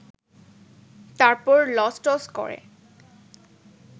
তারপর লসটস করে